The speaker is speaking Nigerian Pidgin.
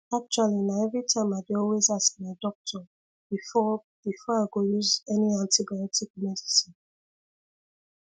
actually na everytime i dey always ask my doctor before before i go use any antibiotic medicine